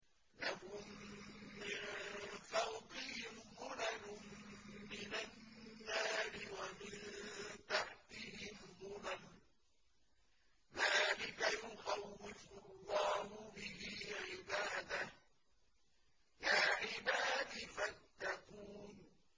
لَهُم مِّن فَوْقِهِمْ ظُلَلٌ مِّنَ النَّارِ وَمِن تَحْتِهِمْ ظُلَلٌ ۚ ذَٰلِكَ يُخَوِّفُ اللَّهُ بِهِ عِبَادَهُ ۚ يَا عِبَادِ فَاتَّقُونِ